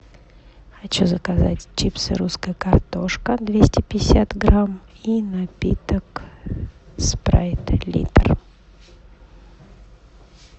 хочу заказать чипсы русская картошка двести пятьдесят грамм и напиток спрайт литр